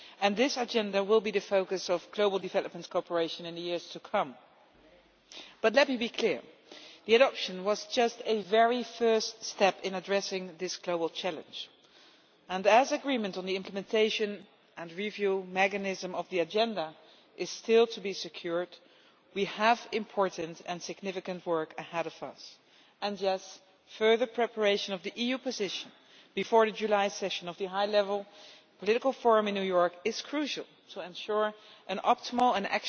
This Agenda will be the focus of global development cooperation in the years to come. But let me be clear, the adoption was just a very first step in addressing this global challenge and as agreement on the implementation and review mechanism of the Agenda is still to be secured, we have important and significant work ahead of us, and yes, further preparation of the EU position before the July session of the High level Political Forum in New York is crucial to ensure an optimal and